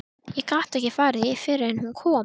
Ég gat ekki farið fyrr en hún kom.